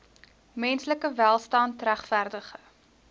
menslike welstand regverdige